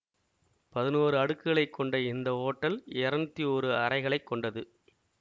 பதினோரு அடுக்குகளை கொண்ட இந்த ஹோட்டல் இருநூத்தி ஒரு அறைகளை கொண்டது